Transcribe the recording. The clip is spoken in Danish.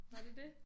Var det det?